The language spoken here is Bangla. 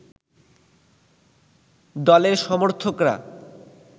দলের সমর্থকরা